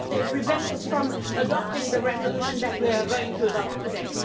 prevent us from adopting the resolution that we are going to adopt today.